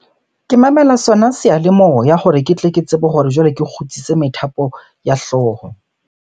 Ke mamela sona seyalemoya hore ke tle ke tsebe hore jwale ke kgutsise methapo ya hlooho.